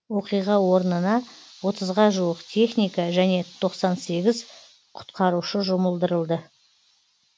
оқиға орнына отызға жуық техника және тоқсан сегіз құтқарушы жұмылдырылды